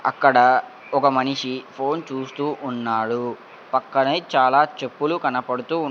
అక్కడ ఒక మనిషి ఫోన్ చూస్తూ ఉన్నాడు పక్కనే చాలా చెప్పులు కనపడుతూ.